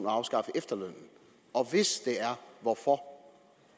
afskaffe efterlønnen og hvis det er hvorfor